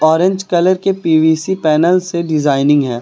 Orange colour के P V C panel से designing है।